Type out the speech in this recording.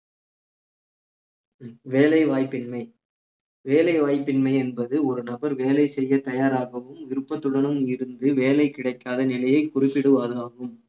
வேலை வாய்ப்பின்மை வேலை வாய்ப்பின்மை என்பது ஒரு நபர் வேலை செய்யத் தயாராகவும் விருப்பத்துடனும் இருந்து வேலை கிடைக்காத நிலையை குறிப்பிடுவது ஆகும்